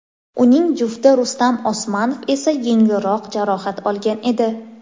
Uning jufti Rustam Osmanov esa yengilroq jarohat olgan edi.